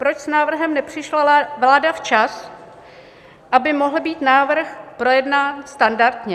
Proč s návrhem nepřišla vláda včas, aby mohl být návrh projednání standardně?